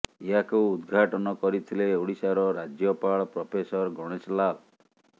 ଏହାକୁ ଉଦଘାଟନ କରିଥିଲେ ଓଡ଼ିଶାର ରାଜ୍ୟପାଳ ପ୍ରଫେସର ଗଣେଶ ଲାଲ୍